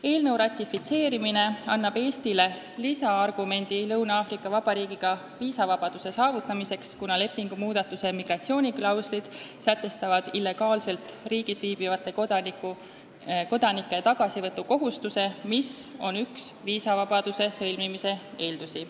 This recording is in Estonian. Eelnõu ratifitseerimine annab Eestile lisaargumendi suhetes Lõuna-Aafrika Vabariigiga viisavabaduse saavutamiseks, kuna lepingumuudatuse migratsiooniklauslid sätestavad illegaalselt riigis viibivate kodanike tagasivõtu kohustuse, mis on üks viisavabaduse sõlmimise eeldusi.